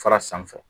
Fara sanfɛ